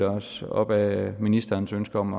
os op ad ministerens ønske om